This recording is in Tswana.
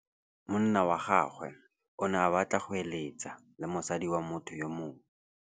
Monna wa gagwe o ne a batla go êlêtsa le mosadi wa motho yo mongwe.